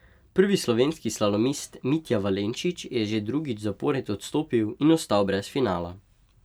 Prvi slovenski slalomist Mitja Valenčič je že drugič zapored odstopil in ostal brez finala.